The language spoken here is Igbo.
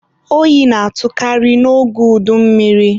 oyi na-atụkarị n'oge udummiri.